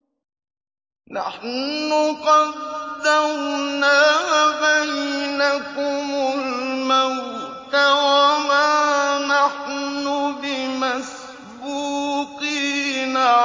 نَحْنُ قَدَّرْنَا بَيْنَكُمُ الْمَوْتَ وَمَا نَحْنُ بِمَسْبُوقِينَ